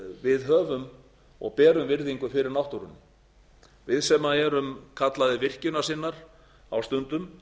við höfum og berum virðingu fyrir náttúrunni við sem erum kallaðir virkjunarsinnar á stundum